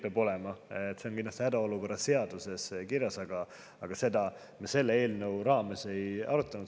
See on kindlasti hädaolukorra seaduses kirjas, aga seda me selle eelnõu raames ei arutanud.